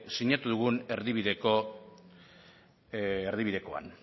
sinatu dugun erdibidekoan